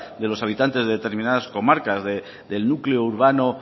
de los habitantes de determinadas comarcas del núcleo urbano